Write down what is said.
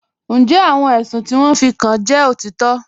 Ǹjẹ́ àwọn èṣùn ti wọn fí kàn jẹ́ otitọ́?